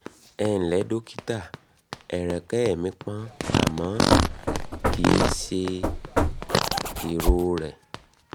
ẹǹlẹ́ dọ́kítà ẹ̀rẹ̀kẹ́ mi pọ́n àmọ́ kì í ṣe ìrọrẹ